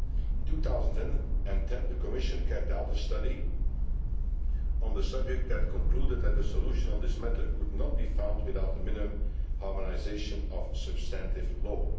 In 2010 the Commission carried out a study on the subject, which concluded that the solution to this matter could not be found without the minimum harmonisation of substantive law.